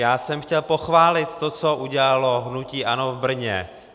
Já jsem chtěl pochválit to, co udělalo hnutí ANO v Brně.